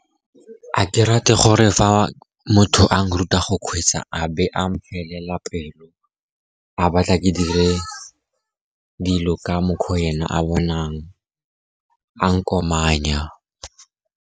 Ga ke rate gore fa motho a nruta go kgweetsa, a be a mphelela pelo a batla ke dire dilo ka mokgwa ena a bonang, a nkomanya.